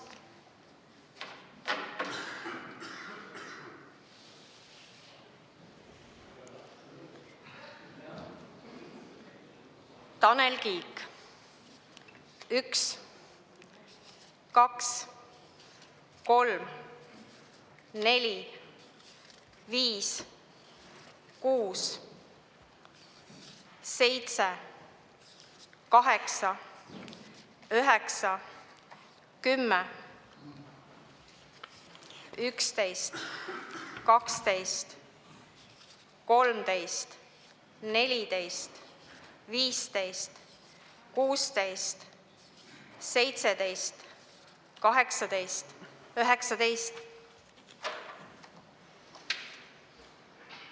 Tanel Kiik: 1, 2, 3, 4, 5, 6, 7, 8, 9, 10, 11, 12, 13, 14, 15, 16, 17, 18, 19.